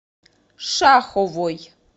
шаховой